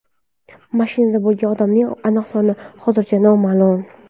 Mashinada bo‘lgan odamlarning aniq soni hozircha noma’lum.